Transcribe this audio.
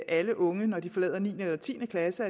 alle unge når de forlader niende eller tiende klasse